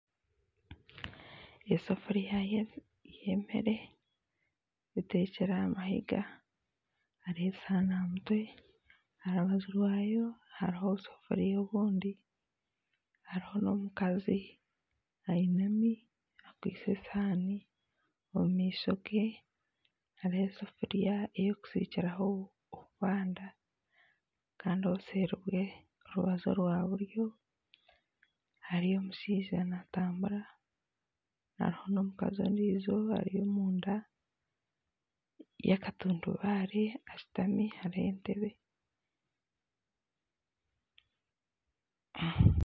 Esefuriya yemere etekire aha mahega hariho esihaani aha mutwe aha rubaju rwayo obusefuriya obundi hariho n'omukazi ainami akwaitse esihaani omu maisho gye hariho esefuriya ey'okusikiraho obubanda kandi obuseeri bwe orubaju rwa buryo hariyo omushaija naatambura hariho n'omukazi ondiijo ari omunda yakatundubaare ashutami hariho entebe